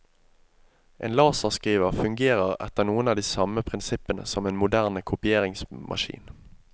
En laserskriver fungerer etter noen av de samme prinsippene som en moderne kopieringsmaskin.